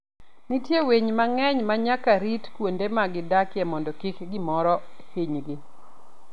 Nitie winy mang'eny ma nyaka rit kuonde ma gidakie mondo kik gimoro hinygi.